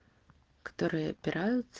которые опираются